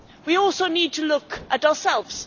We also need to look at ourselves.